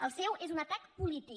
el seu és un atac polític